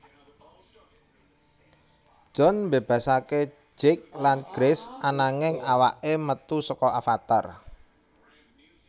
John mbebasake Jake lan Grace ananging awake metu saka avatar